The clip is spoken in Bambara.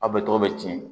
Aw bɛ tɔgɔ bɛ ci